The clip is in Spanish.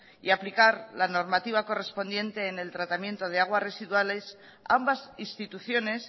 y aplicar la normativa correspondiente en el tratamiento de aguas residuales ambas instituciones